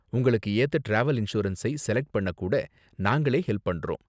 உங்களுக்கு ஏத்த டிராவல் இன்சூரன்ஸை செலக்ட் பண்ண கூட நாங்களே ஹெல்ப் பண்றோம்.